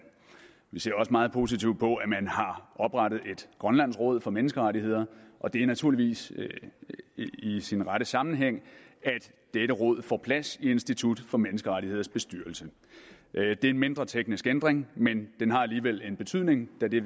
vi ser også meget positivt på at man har oprettet grønlands råd for menneskerettigheder og det er naturligvis i sin rette sammenhæng at dette råd får plads i institut for menneskerettigheders bestyrelse det er en mindre teknisk ændring men den har alligevel en betydning da det